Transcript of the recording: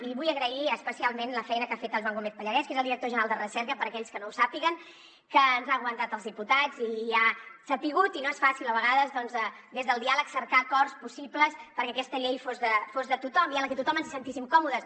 i vull agrair especialment la feina que ha fet el joan gómez pallarès que és el director general de recerca per a aquells que no ho sàpiguen que ens ha aguantat als diputats i ha sabut i no és fàcil a vegades des del diàleg cercar acords possibles perquè aquesta llei fos de tothom i en la que tothom ens sentíssim còmodes